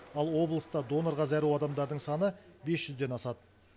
ал облыста донорға зәру адамдардың саны бес жүзден асады